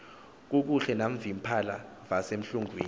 kakuhle navimpahla vasemlungwini